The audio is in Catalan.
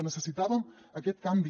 necessitàvem aquest canvi